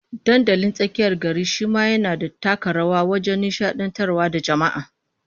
Dandalin tsakiyar gari shi ma yana taka rawa wajen nishadantar da jama'a